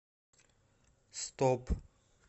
стоп